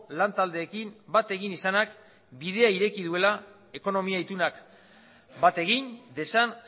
lantaldeekin bat egin izanak bidea ireki duela ekonomia itunak bat egin dezan